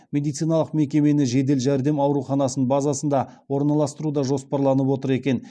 медициналық мекемені жедел жәрдем ауруханасының базасында орналастыру да жоспарланып отыр екен